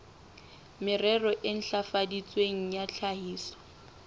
merero e ntlafaditsweng ya tlhahiso